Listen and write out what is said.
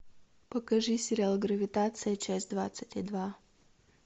покажи сериал гравитация часть двадцать и два